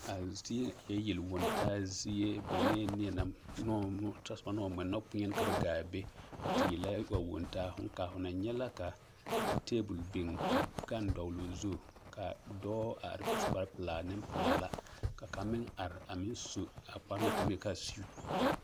A zie eɛ yeliwontaa zie benee neɛ ne o tɔsoba naŋ taa nɔkpeɛne gaa a te yelaa a wontaa, hõõ kaa ho na nyɛ la ka teebol biŋ ka gane dɔgeloo zu ka dɔɔ are su kpare pelaa nempelaa la ka kaŋ meŋ are a meŋ su a kpare na te naŋ maŋ yeli k'a siwuti.